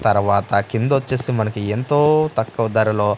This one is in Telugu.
తరవాత కింద వచ్చేసి మనకి ఎంతో తక్కువ ధరలో.